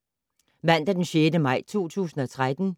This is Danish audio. Mandag d. 6. maj 2013